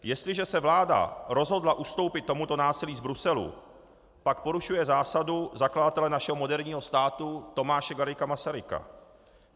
Jestliže se vláda rozhodla ustoupit tomuto násilí z Bruselu, pak porušuje zásadu zakladatele našeho moderního státu Tomáše Garrigua Masaryka.